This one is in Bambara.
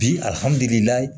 Bi alihamdulilayi